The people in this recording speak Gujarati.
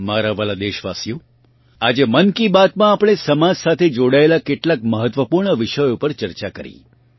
મારાં વહાલાં દેશવાસીઓ આજે મન કી બાત માં આપણે સમાજ સાથે જોડાયેલાં કેટલાંય મહત્વપૂર્ણ વિષયો પર ચર્ચા કરી